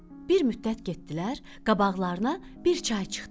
Bir müddət getdilər, qabaqlarına bir çay çıxdı.